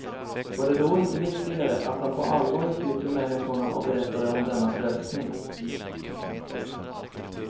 Var det då inte viktigare, att han på allvar gick ut till människorna och berättade om denna frälsning.